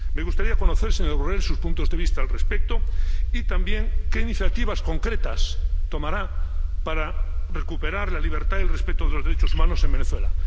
Me gustaría conocer, señor Borrell, sus puntos de vista al respecto y también qué iniciativas concretas tomará para recuperar la libertad y el respeto de los derechos humanos en Venezuela.